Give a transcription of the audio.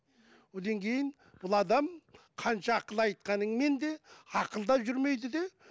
одан кейін ол адам қанша ақыл айтқаныңмен де ақыл да жүрмейді де